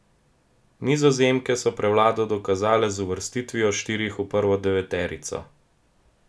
Nizozemke so prevlado dokazale z uvrstitvijo štirih v prvo deveterico.